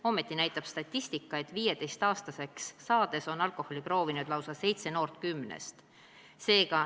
Ometi näitab statistika, et 15. eluaastaks on alkoholi proovinud lausa seitse noort kümnest.